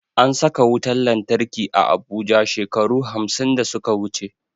An saka wutan lantarki a abuja shekaru hamsin da suka wuche